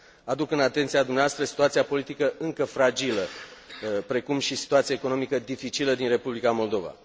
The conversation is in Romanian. Aduc în atenția dumneavoastră situația politică încă fragilă, precum și situația economică dificilă din Republica Moldova.